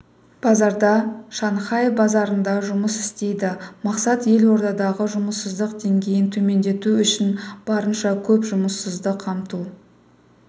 базарда шанхай базарында жұмыс істейді мақсат елордадағы жұмыссыздық деңгейін төмендету үшін барынша көп жұмыссызды қамту